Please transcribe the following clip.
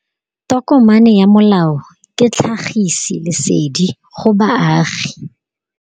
Tokomane ya molao ke tlhagisi lesedi go baagi.